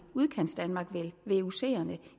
udkantsdanmark